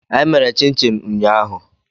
Anyị mèrè chin-chin ụñyahu